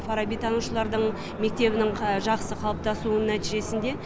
фарабитанушылардың мектебінің жақсы қалыптасуының нәтижесінде